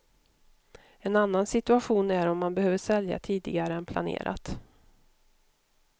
En annan situation är om man behöver sälja tidigare än planerat.